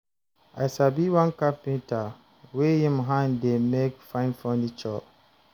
I sabi one carpenter wey im hand dey make fine furniture.